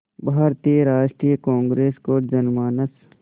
भारतीय राष्ट्रीय कांग्रेस को जनमानस